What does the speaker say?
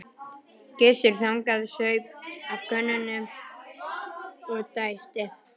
Gissur þagnaði, saup af könnunni og dæsti.